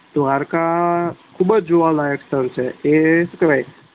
દ્વારકા ખુબજ જોવાલાયક સ્થળ છે એજ કેવાય